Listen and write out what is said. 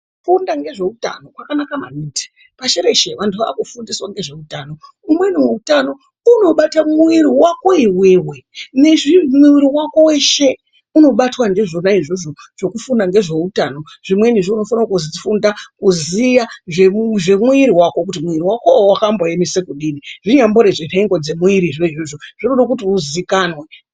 Kufunda ngezveutano kwakanaka maningi. Pashi reshe vantu vaakufundiswa ngezveutano umweni utano unobata mwiri wako iwewe, nezvi mwiri wako weshe unobatwa ndizvona izvozvo zvekufunda ngezveutano, zvimweni zveunofana kufunda kuziya zvemwiri wako kuti mwiri wakowo wakamboemesa kudini zvinyambori zvenhengo dzemwirizvo izvozvo zvinoda kuti uzikanwe.